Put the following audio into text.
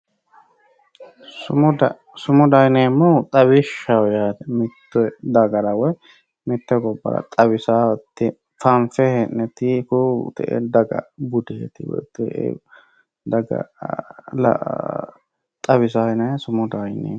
Sumuda, sumudaho yineemmohu xawishshaho yaate, mite dagara woyi mite gobbara xawisaho woyi fanfe hee'ne kuu'u te'e dagaha budeti woyi daga xawisanoha sumudaho yineemmo.